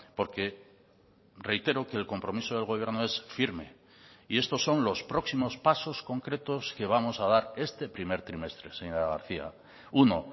porque reitero que el compromiso del gobierno es firme y estos son los próximos pasos concretos que vamos a dar este primer trimestre señora garcía uno